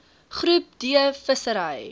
groep d vissery